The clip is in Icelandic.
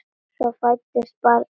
Svo fæddist barnið.